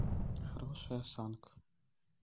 хорошая осанка